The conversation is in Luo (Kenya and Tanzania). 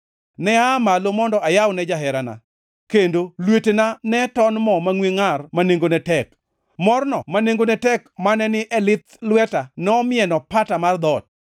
Ne aa malo mondo ayawne jaherana, kendo lwetena ne ton mo mangʼwe ngʼar ma nengone tek. Morno ma nengone tek mane ni e lith lweta nomieno pata mar dhoot.